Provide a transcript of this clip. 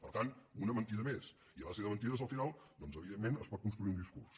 per tant una mentida més i a base de mentides al final doncs evidentment es pot construir un discurs